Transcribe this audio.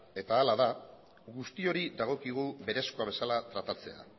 eta hala da guztioi dagokigu berezkoa bezala tratatzea